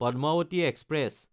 Padmavati express